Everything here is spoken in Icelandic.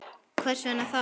Hvers vegna þá?